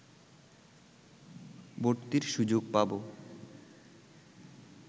ভর্তির সুযোগ পাব